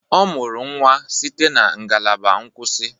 Ọ mụrụ nwa site na ngalaba nkwụsị